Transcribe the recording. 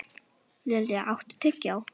Lilja, áttu tyggjó?